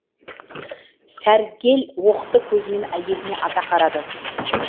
сәргел оқты көзімен әйеліне ата қарады